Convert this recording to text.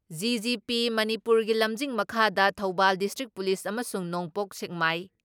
GGP ꯃꯅꯤꯄꯨꯔꯒꯤ ꯂꯝꯖꯤꯡ ꯃꯈꯥꯗ ꯊꯧꯕꯥꯜ ꯗꯤꯁꯇ꯭ꯔꯤꯛ ꯄꯨꯂꯤꯁ ꯑꯃꯁꯨꯡ ꯅꯣꯡꯄꯣꯛ ꯁꯦꯛꯃꯥꯏ